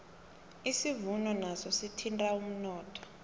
isivuno naso sithinta umnotho